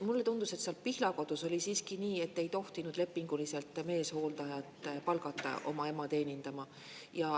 Mulle tundus, et seal Pihlakodus oli siiski nii, et ei tohtinud lepinguliselt meeshooldajat palgata oma ema teenindama.